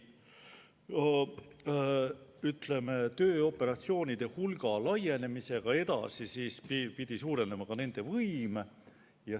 Tööoperatsioonide hulga laienemisega edaspidi pidi suurenema ka nende võim.